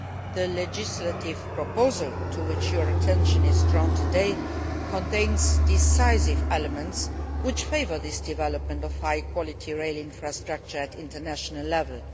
The legislative proposal to which your attention is drawn today contains decisive elements which favour this development of high quality rail infrastructure at international level.